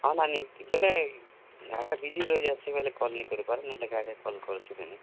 ହଁ, ନାନୀ, ବେଲେ ଘାଏ ଘାଏ busy ରହିଯାଏଁସି ବେଲେ call ନି କରି ପାରେ ନାହେଲେ call କରସି ନାନୀ।